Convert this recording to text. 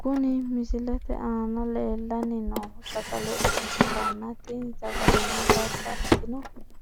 Kuni misilete aana leellanni noohu sagale ikkitanna tini sagaleno babbaxino